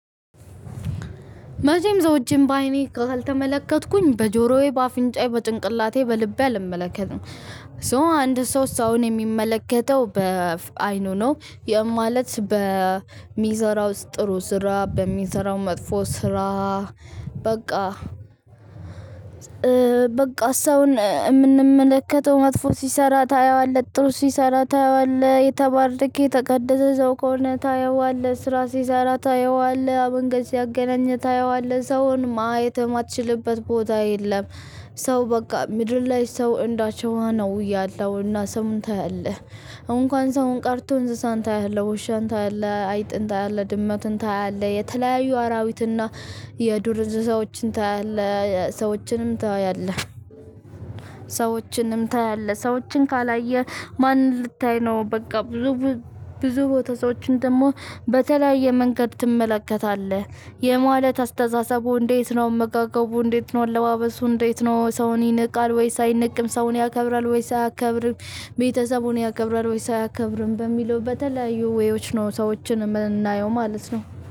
መቼም ስዎችን በአይኔ ካልተመለከትኩኝ በጆሮዬ በአፍንጫዬ በጭንቅላቴ ልቤ አልመለከትም። ሶ አንድ ሰው ሰውን የሚመለከተው በአይኑ ነው። ማለት በሚሰራው ጥሩ ስራ በሚሰራው መጥፎ ሰራ። በቃ ሰውን የምንመለከተው መጥፎ ሲሰራ ታየዋለህ ጥሩ ሲሰራ ታየዋለህ የተባረክ ተቀደሰ ሰው ከሆነ ታየዋለህ ስራ ሲሰራ ታየዋለህ መንገድ ሲያገናኝ ታየዋለህ ሰውን ማየት የማትችልበት ቦታ የለም። ሰው በቃ ምድር ላይ ሰው እንዳሸዋ ነው ያለሁና ሰውን ታያለህ እንኳን ሰውን ቃርቶ እንስሳን ታያለሁ ውሻን ታያለሁ አይጥን ታያለህ ድመቱን ታያለህ የተለያዩ አራዊትና የዱር እንስሳዎችን ታያለህ ሰዎችንም ታያለህ። ሰዎችንም ታያለህ ሰዎችን ካላየህ ማን ልታይ ነው? በቃ ብዙ ብዙ ቦታ ሰዎችን ደግሞ በተለያየ መንገድ ትመለከታለህ። ይህ ማለት አስተሳሰቡ እንዴት ነው? አመጋገቡ እንዴት ነው? አለባበሱ እንዴት ነው? ሰውን ይንቃል ወይስ አይንቅም ሰውን ያከብራል ወይስ አያከብርም? ቤተሰቡን ያከብራል ወይስ አያከብርም? በሚለው በተለያዩ ዌዮች ነው ሰዎችን የምናየው ማለት ነው